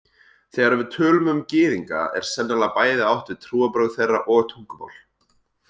Þegar við tölum um Gyðinga er sennilega bæði átt við trúarbrögð þeirra og tungumál.